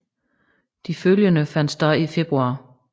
De følgende fandt sted i februar